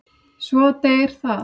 Svo deyr það.